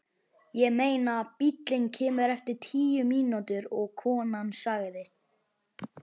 Ég meina, bíllinn kemur eftir tíu mínútur og konan sagði.